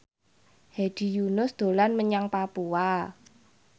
Hedi Yunus dolan menyang Papua